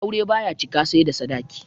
Aure baya cika sai da sadaki